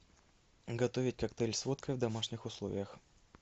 готовить коктейль с водкой в домашних условиях